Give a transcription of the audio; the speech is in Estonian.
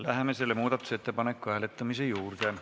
Läheme selle muudatusettepaneku hääletamise juurde.